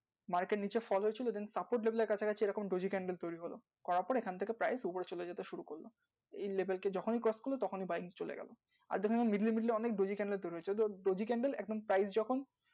market নিচে fall হয়েছে stock e debit, investment তারপরে prime যখন feel করছি either, debit, credit